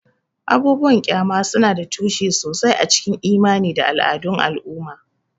Abubuwan ƙyama suna da tushe sosai a cikin imani da al'adun al'umma.